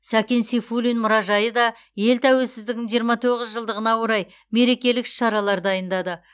сәкен сейфуллин мұражайы да ел тәуелсіздігінің жиырма тоғыз жылдығына орай мерекелік іс шаралар дайындады